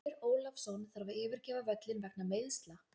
Finnur Ólafsson þarf að yfirgefa völlinn vegna meiðsla.